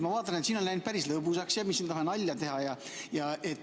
Ma vaatan, et siin on läinud päris lõbusaks ja me siin tahame nalja teha.